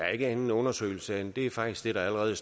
er en anden undersøgelse det er faktisk allerede